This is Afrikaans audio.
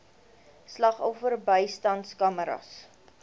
slagoffer bystandskamers